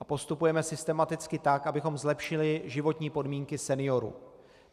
A postupujeme systematicky tak, abychom zlepšili životní podmínky seniorů.